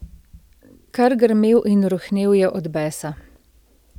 Kar grmel in rohnel je od besa.